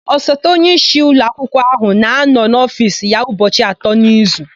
Osote onyeisi ụlọakwụkwọ áhụ̀ na-anọ n'ofiisi ya ụbọchị atọ n'izu.